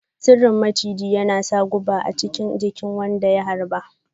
Sarrin maciji yana sa guba a chikin jikin wanda ya harba.